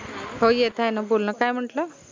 हो येत आहेत न बोल न काय म्हंटल?